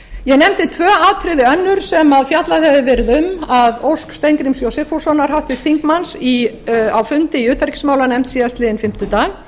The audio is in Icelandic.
ég nefndi tvö atriði önnur sem fjallað hefur verið um að ósk háttvirtur þingmaður steingríms j sigfússonar á fundi í utanríkismálanefnd síðastliðinn fimmtudag